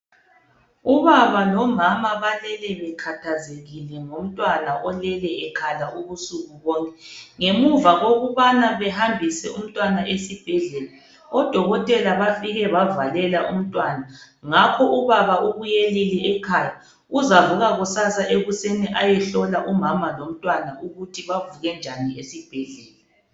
Ubaba lomama balele bekhathazwkile ngomntwana olele ekhala ubusuku bonke ngemuva kokubana kokubana behambise umntwana esibhedlela odokotela bafike bavalela umntwana ngakho ubaba ubuyelile ekhaya uzavuka kusasa ekuseni ayehlola umama lomntwana ukuthi bavuke njani esibhedlela.